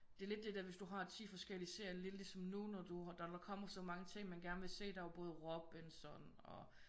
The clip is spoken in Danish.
Det er lidt det der hvis du har 10 forskellige serier lidt ligesom nu når du der kommer så mange ting man gerne vil se. Der er jo både Robinson og